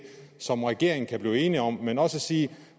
som regeringen kan blive enige om men også at sige